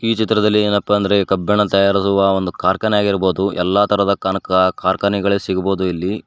ಈ ಚಿತ್ರದಲ್ಲಿ ಏನಪ್ಪಾ ಅಂದ್ರೆ ಕಬ್ಬಿಣ ತಯಾರಾಗುವ ಒಂದು ಕಾರ್ಖಾನೆ ಆಗಿರ್ಬೋದು ಎಲ್ಲಾ ತರದ ಕನಕ ಕಾರ್ಖಾನೆಗಳೆ ಸಿಗ್ಬೋದು ಇಲ್ಲಿ.